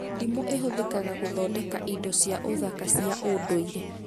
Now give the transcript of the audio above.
Ndimũ ĩhũthĩkaga gũthondeka indo cia ũthaka cia ũnduire